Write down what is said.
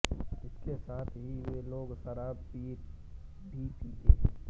इसके साथ ही वे लोग शराब भी पीते हैं